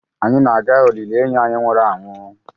Anyị na-aga olili enyi anyị nwụrụ anwụ